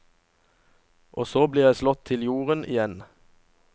Og så blir jeg slått til jorden igjen.